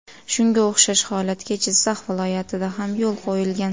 Shunga o‘xshash holatga Jizzax viloyatida ham yo‘l qo‘yilgan.